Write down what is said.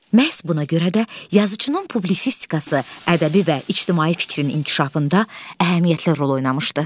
Məhz buna görə də yazıçının publisistikası ədəbi və ictimai fikrin inkişafında əhəmiyyətli rol oynamışdır.